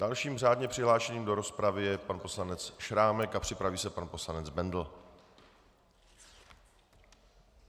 Dalším řádně přihlášeným do rozpravy je pan poslanec Šrámek a připraví se pan poslanec Bendl.